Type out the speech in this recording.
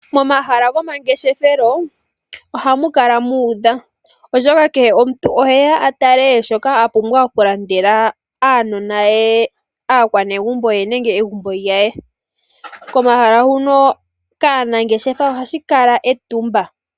Momahala gomangeshefelo ohamu kala muudha, oshoka kehe omuntu oheya a tale shoka a pumbwa oku landela aanona ye, aakwanegumbo ye nenge egumbo lye. Komahala huno kaanangeshefa ohashi kala etumba.